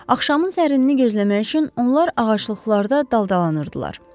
Axşamın sərinliyini gözləmək üçün onlar ağaclıqlarda daldalanırdılar.